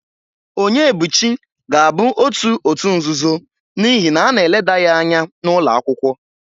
Onyebuchi ga-abụ otu òtù nzuzo n'ihi na a na-eleda ya anya n'ụlọ akwụkwọ.